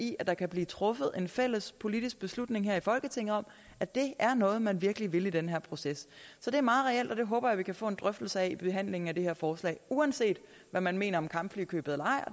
i at der kan blive truffet en fælles politisk beslutning her i folketinget om at det er noget man virkelig vil i den her proces så det er meget reelt og det håber jeg at vi kan få en drøftelse af i behandlingen af det her forslag uanset hvad man mener om kampflykøbet og